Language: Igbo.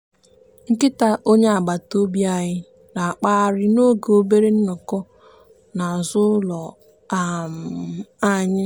nkịta onye agbataobi anyị na-akpagharị n'oge obere nnọkọ n'azụ ụlọ um anyị.